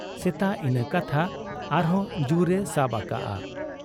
ᱥᱮᱛᱟᱜ ᱤᱱᱟᱹ ᱠᱟᱛᱷᱟ ᱟᱨᱦᱚᱸ ᱡᱩᱨ ᱮ ᱥᱟᱵ ᱟᱠᱟᱜ ᱟ ᱾